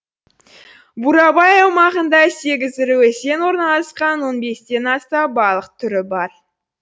бурабай аумағында сегіз ірі өзен орналасқан он бестен аса балық түрі бар